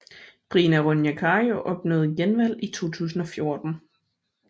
Rina Ronja Kari opnåede genvalg i 2014